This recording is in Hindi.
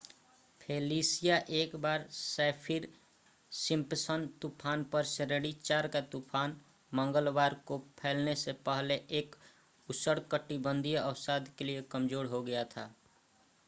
फ़ेलिशिया एक बार सैफिर-सिम्पसन तूफ़ान पर श्रेणी 4 का तूफ़ान मंगलवार को फैलने से पहले एक उष्णकटिबंधीय अवसाद के लिए कमज़ार हो गया था